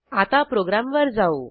आता प्रोग्रॅमवर जाऊ